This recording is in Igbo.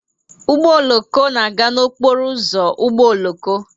Ụgbọ oloko na-aga n'okporo ụzọ ụgbọ oloko.